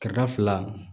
Kɛrɛda fila